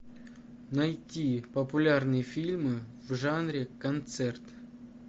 найти популярные фильмы в жанре концерт